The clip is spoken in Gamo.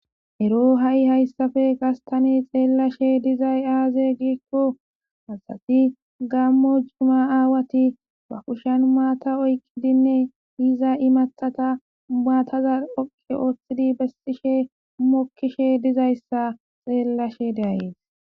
ero ha7i hayssafe gastani xeellashe dizay aaze giikko hasati gammo juma aawati bakushan maata oyqi dinne iza imaxata baataza oqe ooththidi bessishe mokkishe dizayssa xeellashe daayes